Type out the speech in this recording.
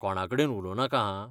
कोणाकडेन उलोवं नाका हां.